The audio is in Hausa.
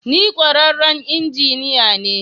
Ni kwararren injiniya ne.